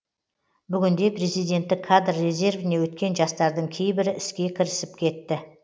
бүгінде президенттік кадр резервіне өткен жастардың кейбірі іске кірісіп кетті